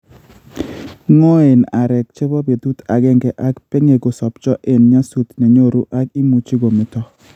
Ngoen areek chebo betut agenge ak peng'e kosopcho en nyasut nenyoru ak imuchi kometo